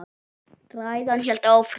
Ræðan hélt áfram: